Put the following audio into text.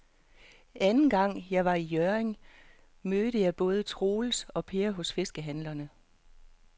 Anden gang jeg var i Hjørring, mødte jeg både Troels og Per hos fiskehandlerne.